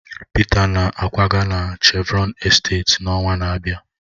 Peter na-akwaga na Chevron esteeti n'ọnwa na-abịa